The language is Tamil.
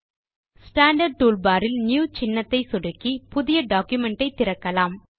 ஸ்டாண்டார்ட் டூல் பார் இல் நியூ சின்னத்தை சொடுக்கி புதிய டாக்குமென்ட் ஐ திறக்கலாம்